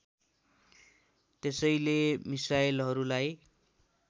त्यसैले मिसाइलहरूलाई